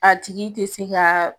A tigi te se ka